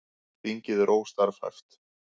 Þingið er óstarfhæft